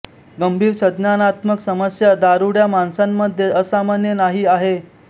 गंभीर संज्ञानात्मक समस्या दारुड्या माणसांमध्ये असामान्य नाही आहे